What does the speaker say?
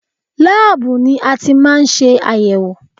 Láàbù ni a ti máa ń ṣe àyẹ̀wò